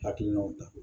Hakilinaw ta